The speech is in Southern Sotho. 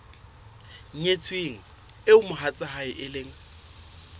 nyetsweng eo mohatsae e leng